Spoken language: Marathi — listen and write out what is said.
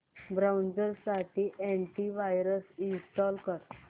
ब्राऊझर साठी अॅंटी वायरस इंस्टॉल कर